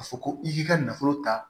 Ka fɔ ko i k'i ka nafolo ta